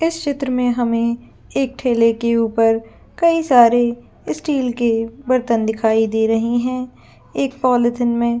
इस चित्र में हमें एक ठेले के ऊपर कई सारे स्टील के बर्तन दिखाई दे रहे हैं एक पॉलिथीन में--